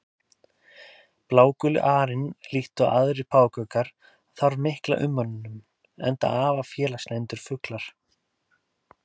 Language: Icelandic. Bláguli arinn líkt og aðrir páfagaukar þarf mikla umönnun, enda afar félagslyndir fuglar.